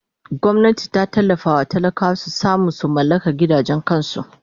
Gwamnati ta tallafawa talakawa su samu su mallaka gidajen kansu!